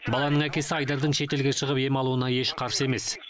баланың әкесі айдардың шетелге шығып ем алуына еш қарсы емес